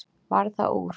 Varð það úr.